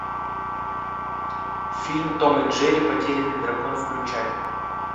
фильм том и джерри потерянный дракон включай